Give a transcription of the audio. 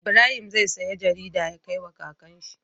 Ibrahim zai siya jarida ya kai wa kakan shi